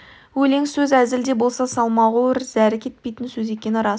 өлең сөз әзіл де болса салмағы ауыр зәрі кетпейтін сөз екені рас